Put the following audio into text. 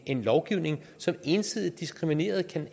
en lovgivning som ensidigt diskriminerede